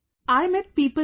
I met people there